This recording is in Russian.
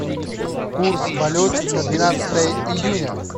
курс валюты на двенадцатое июня